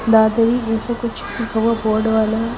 दादेही इसमें कुछ बहुत बोर्ड वाला हैं।